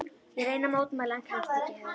Ég reyni að mótmæla en kemst ekki að.